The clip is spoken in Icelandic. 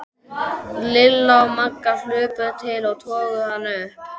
Lilla og Magga hlupu til og toguðu hana upp.